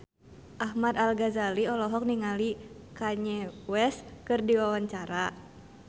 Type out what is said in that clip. Ahmad Al-Ghazali olohok ningali Kanye West keur diwawancara